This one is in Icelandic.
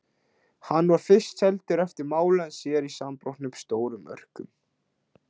Hann var fyrst seldur eftir máli en síðar í samanbrotnum stórum örkum.